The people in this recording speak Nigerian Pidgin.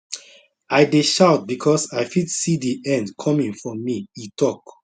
i dey shout becos i fit see di end coming for me e tok